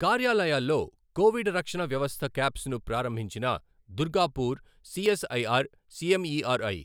కార్యాలయాల్లో కోవిడ్ రక్షణ వ్యవస్థ కాప్స్ ను ప్రారంభించిన దుర్గాపూర్ సీఎస్ఐఆర్ సీఎంఈఆర్ఐ